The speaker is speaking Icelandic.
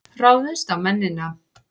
Ráðumst á mennina!